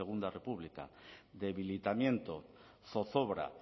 segundo república debilitamiento zozobra